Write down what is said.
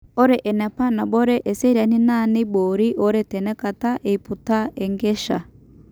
Ore enapa nabore esiariani naa neibori oretenakata eputa enkesha.